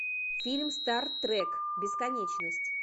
фильм стар трек бесконечность